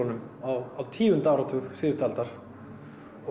LHÍ á tíunda áratug síðustu aldar